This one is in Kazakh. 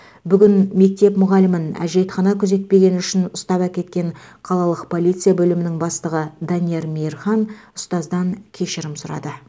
бүгін мектеп мұғалімін әжетхана күзетпегені үшін ұстап әкеткен қалалық полиция бөлімінің бастығы данияр мейірхан ұстаздан кешірім сұрады